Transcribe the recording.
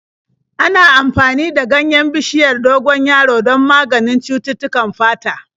Ana amfani da ganyen bishiyar dogon yaro don maganin cututtukan fata.